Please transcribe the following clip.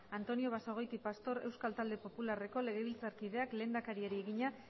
antonio basagoiti pastor euskal talde popularreko legebiltzarkideak lehendakariari egina